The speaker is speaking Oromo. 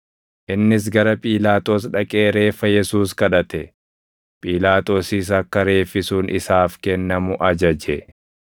Innis gara Phiilaaxoos dhaqee reeffa Yesuus kadhate; Phiilaaxoosis akka reeffi sun isaaf kennamu ajaje.